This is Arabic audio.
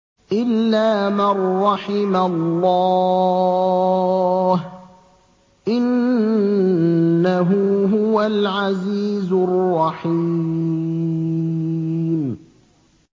إِلَّا مَن رَّحِمَ اللَّهُ ۚ إِنَّهُ هُوَ الْعَزِيزُ الرَّحِيمُ